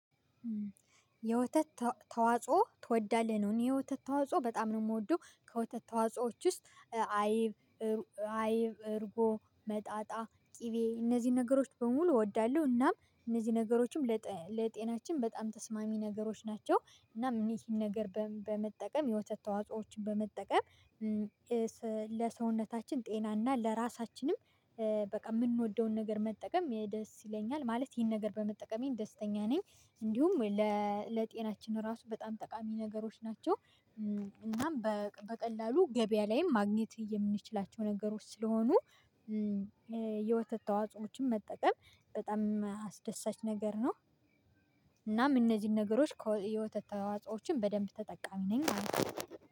የወተት ተዋጾ ትወዳለህ ነው? እኔ የወተት ተዋጾ በጣም ነው የምወደው ከወተት ተዋጽኦዎች ውስጥ አይብ አይብ እርጎ መጣጣ ቅቤ እነዚህን ነገሮች በሙሉ እወዳለሁ። እናም እነዚህ ነገሮችም ለጤናችን በጣም ተስማሚ ነገሮች ናቸው። እናም ይሄን ነገር በመጠቀም የወተት ተዋጾዎችን በመጠቀም ለሰውነታችን ጤናና ለራሳችንም የምንወደውን ነገር መጠቀም ደስ ይለኛል ማለት ይሄን ነገር በመጠቀሜ ደስተኛ ነኝ። እንዲሁም ለጤናችን ራሱ በጣም ጠቃሚ ነገሮች ናቸው። እናም በቀላሉ ገበያ ላይም ማግኘት የምንችላቸው ነገሮች ስለሆኑ የወተት ተዋጾዎችን የመጠቀም በጣም አስደሳች ነገር ነው። እናም እነዚህን ነገሮች የወተት ተዋጾዎችን በደንብ ተጠቃሚ ነኝ።